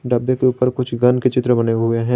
डब्बे के ऊपर कुछ गन के चित्र बने हुए है |